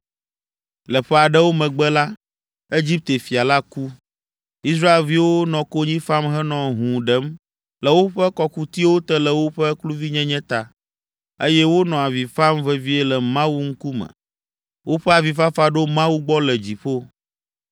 Le ƒe aɖewo megbe la, Egipte fia la ku. Israelviwo nɔ konyi fam henɔ hũu ɖem le woƒe kɔkutiwo te le woƒe kluvinyenye ta, eye wonɔ avi fam vevie le Mawu ŋkume. Woƒe avifafa ɖo Mawu gbɔ le dziƒo.